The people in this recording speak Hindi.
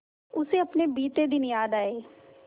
उसे अपने बीते दिन याद आए